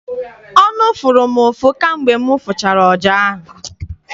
Ọnụ fụrụ m ụfụ kamgbe m fụchara ọja.